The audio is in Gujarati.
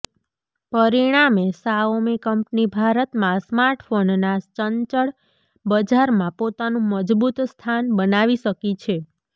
પરિણામે શાઓમી કંપની ભારતમાં સ્માર્ટફોનના ચંચળ બજારમાં પોતાનું મજબૂત સ્થાન બનાવી શકી છે